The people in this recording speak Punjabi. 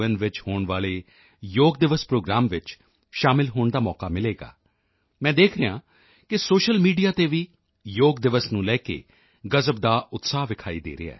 ਵਿੱਚ ਹੋਣ ਵਾਲੇ ਯੋਗ ਦਿਵਸ ਪ੍ਰੋਗਰਾਮ ਚ ਸ਼ਾਮਲ ਹੋਣ ਦਾ ਮੌਕਾ ਮਿਲੇਗਾ ਮੈਂ ਦੇਖ ਰਿਹਾ ਹਾਂ ਕਿ ਸੋਸ਼ਲ ਮੀਡੀਆ ਤੇ ਵੀ ਯੋਗ ਦਿਵਸ ਨੂੰ ਲੈ ਕੇ ਗਜਬ ਦਾ ਉਤਸ਼ਾਹ ਦਿਖਾਈ ਦੇ ਰਿਹਾ ਹੈ